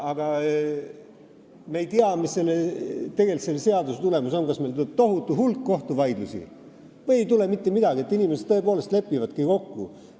Me ei tea, samas, mis on selle seaduse tulemus – kas meil tuleb tohutu hulk kohtuvaidlusi või ei tule mitte midagi, sest inimesed tõesti lepivadki kokku.